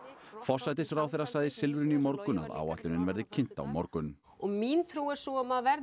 forsætisráðherra sagði í Silfrinu í morgun að áætlunin verði kynnt á morgun og mín trú er sú að maður verði